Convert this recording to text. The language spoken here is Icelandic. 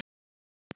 Hvað með störf?